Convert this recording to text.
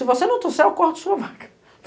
Se você não trouxet, eu corto a sua vaga.